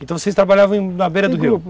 Então vocês trabalhavam na beira do rio